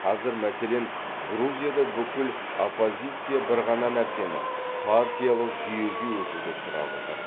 қазір мәселен грузияда бүкіл оппозиция бір ғана нәрсені партиялық жүйеге өтуді сұрап отыр